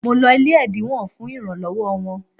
Mo lọ ilé ẹ̀dínwó fún ìrànlọ́wọ́ wọn